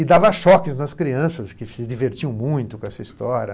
E dava choques nas crianças, que se divertiam muito com essa história.